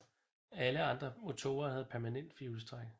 Alle andre motorer havde permanent firehjulstræk